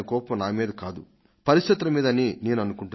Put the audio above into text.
ఇప్పుడు నెలకొన్న పరిస్థితుల మీద అని నేను అనుకుంటున్నాను